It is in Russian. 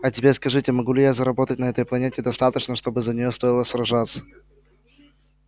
а теперь скажите могу ли я заработать на этой планете достаточно чтобы за нее стоило сражаться